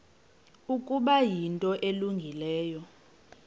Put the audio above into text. ukuba yinto elungileyo